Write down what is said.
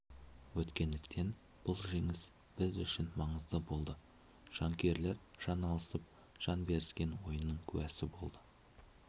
өткендіктен бұл жеңіс біз үшін маңызды болды жанкүйерлер жан алысып жан беріскен ойынның куәсі болды